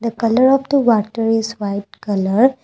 the colour of the water is white colour.